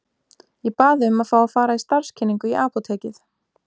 Ég bað um að fá að fara í starfskynningu í apótekið.